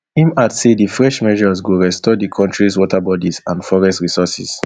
im add say di fresh measures go restore di kontris waterbodies and forest resources